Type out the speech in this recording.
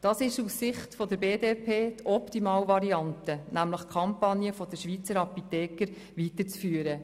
Es ist aus Sicht der BDP die Optimalvariante, die Kampagne der Schweizer Apotheker weiterzuführen.